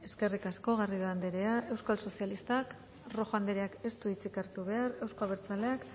eskerrik asko garrido anderea euskal sozialistak rojo andereak ez dut hartu behar euzko abertzaleak